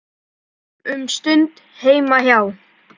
Sátum um stund heima hjá